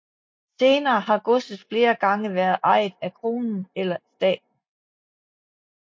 Senere har godset flere gange været ejet af kronen eller staten